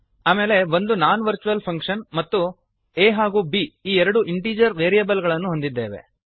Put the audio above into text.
ಆಮೇಲೆ ಒಂದು non virtual function ಮತ್ತು a ಹಾಗೂ ಬ್ ಈ ಎರಡು ಇಂಟೀಜರ್ ವೇರಿಯಬಲ್ ಗಳನ್ನು ಹೊಂದಿದ್ದೇವೆ